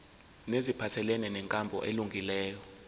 neziphathelene nenkambo elungileyo